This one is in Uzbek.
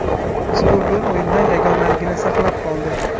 Ushbu gol o‘yinda yagonaligini saqlab qoldi.